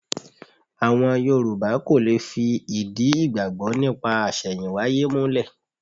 Àwọn Yorù̀bá kò lè fi ìdí ìgbàgbọ́ nípa àṣẹ̀yìnwáyé múlẹ̀.